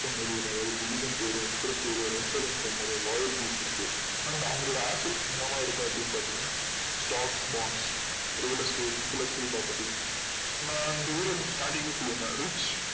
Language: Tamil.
volume peace இருக்கு நம்ப அவங்களோட office என்னவா இருக்கோம் அப்டின்னு பாத்திங்கன்னா stacks bons real estate intelactual property நா daily starting லயே சொல்லுவேன் rich